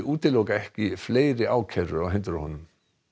útiloka ekki fleiri ákærur á hendur honum